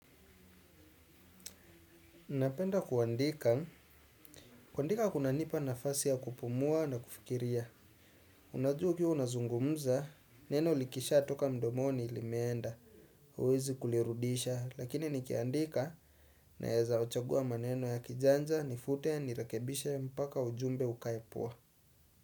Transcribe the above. Napenda kuandika. Kuandika kunanipa nafasi ya kupumua na kufikiria. Unajua ukiwa nazungumza, neno likisha toka mdomoni ilimeenda. Huwezi kulirudisha, lakini nikiandika naweza chagua maneno ya kijanja, nifute, nirakebisha, mpaka, ujumbe, ukaepua.